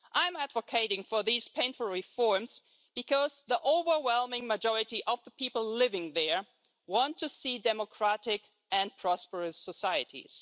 I'm advocating painful reforms because the overwhelming majority of the people living there want to see democratic and prosperous societies